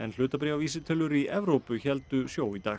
hlutabréfavísitölur í Evrópu héldu sjó í dag